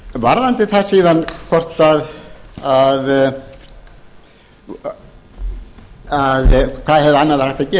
varðandi það síðan hvað hefði annað verið hægt að gera ég minni